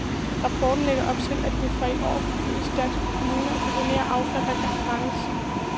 Rapporten lægger op til, at det fra i år forbydes danske kommuner at deponere affald, der kan forbrændes.